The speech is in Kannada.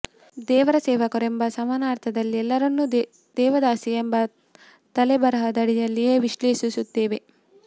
ದೇವರ ಸೇವಕರು ಎಂಬ ಸಾಮಾನ್ಯಾರ್ಥದಲ್ಲಿ ಎಲ್ಲರನ್ನು ದೇವದಾಸಿ ಎಂಬ ತಲೆಬರಹದಡಿಯಲ್ಲಿಯೇ ವಿಶ್ಲೇಷಿಸುತ್ತೇವೆ